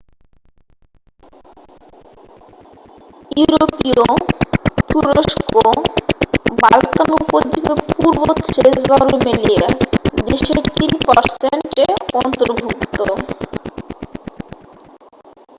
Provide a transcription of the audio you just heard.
ইউরোপীয় তুরস্ক বাল্কান উপদ্বীপে পূর্ব থ্রেস বা রুমেলিয়া দেশের 3% এ অন্তর্ভুক্ত।